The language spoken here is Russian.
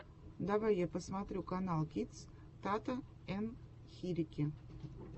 давай я посмотрю каналкидс тата ен хирики